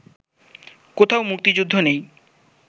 কোথাও মুক্তিযুদ্ধ নেই